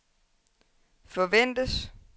forventes